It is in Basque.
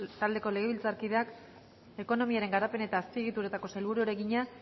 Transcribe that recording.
taldeko legebiltzarkideak ekonomiaren garapen eta azpiegituretako sailburuari egina